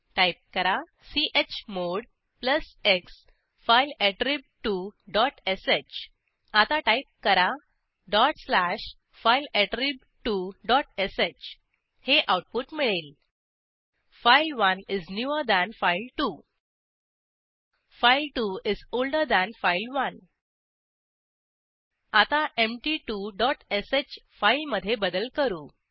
type करा chmod plus x file attrib two dot sh आता type करा dot slash file attrib two dot sh हे output मिळेल file one is newer than file two file two is older than file one आता empty2श फाईलमधे बदल करू